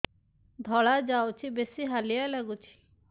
ଧଳା ଯାଉଛି ବେଶି ହାଲିଆ ଲାଗୁଚି